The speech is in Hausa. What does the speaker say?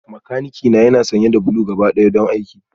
Makanikina yana sanye da blue gabaɗaya don aiki